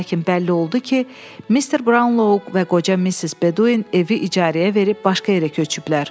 Lakin bəlli oldu ki, Mr. Braunlo və qoca Missis Bedoin evi icarəyə verib başqa yerə köçüblər.